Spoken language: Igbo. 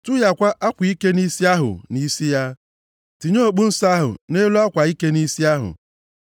Tụhịakwa akwa ike nʼisi ahụ nʼisi ya. Tinye okpu nsọ ahụ nʼelu akwa ike nʼisi ahụ.